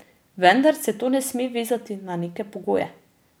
Vendar se to ne sme vezati na neke pogoje.